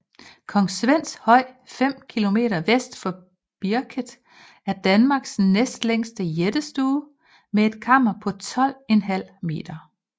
Kong Svends Høj 5 km vest for Birket er Danmarks næstlængste jættestue med et kammer på 12½ m